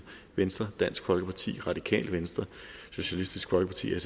venstre dansk folkeparti radikale venstre socialistisk folkeparti